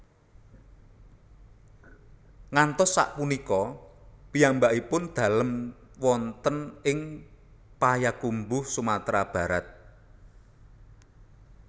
Ngantos sak punika piyambakipun dalem wonten ing Payakumbuh Sumatra Barat